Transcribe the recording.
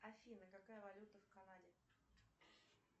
афина какая валюта в канаде